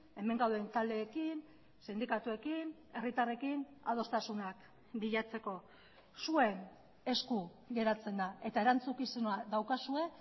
hemen gauden taldeekin sindikatuekin herritarrekin adostasunak bilatzeko zuen esku geratzen da eta erantzukizuna daukazue